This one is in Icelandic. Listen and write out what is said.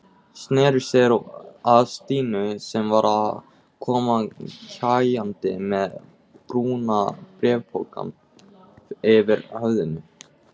Sneri sér að Stínu sem var að koma kjagandi með brúna bréfpokann yfir höfðinu.